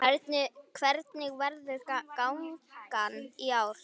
Hvernig verður gangan í ár?